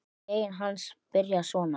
Grein hans byrjaði svona